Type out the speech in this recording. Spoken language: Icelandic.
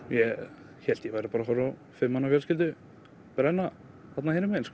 ég hélt ég væri bara að horfa á fimm manna fjölskyldu brenna þarna hinum megin